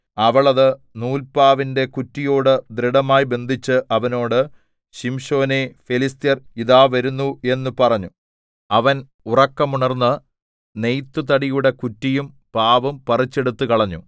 അവൾ അത് നൂല്പാവിന്‍റെ കുറ്റിയോട് ദൃഢമായി ബന്ധിച്ച് അവനോട് ശിംശോനേ ഫെലിസ്ത്യർ ഇതാ വരുന്നു എന്ന് പറഞ്ഞു അവൻ ഉറക്കമുണർന്ന് നെയ്ത്തുതടിയുടെ കുറ്റിയും പാവും പറിച്ചെടുത്തുകളഞ്ഞു